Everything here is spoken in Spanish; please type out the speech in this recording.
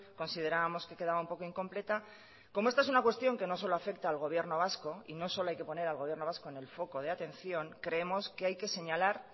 considerábamos que quedaba un poco incompleta como esta es una cuestión que no solo afecta al gobierno vasco y no solo hay que poner al gobierno vasco en el foco de atención creemos que hay que señalar